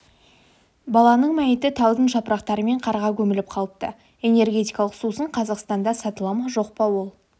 баланың мәйіті талдың жапырақтары мен қарға көміліп қалыпты энергетикалық сусын қазақстанда сатыла ма жоқ па ол